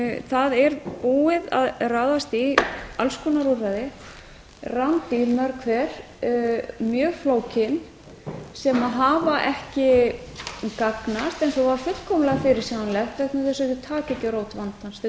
það er búið að ráðast í alls konar úrræði rándýr mörg hver mjög flókin sem hafa ekki gagnast eins og var fullkomlega fyrirsjáanlegt vegna þess að þau taka ekki á rót vandans þau